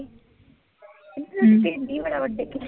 ਢਿੱਡ ਹੀ ਬੜਾ ਵੱਡਾ ਹੈ ਕ੍ਰਿਸ਼ ਦਾ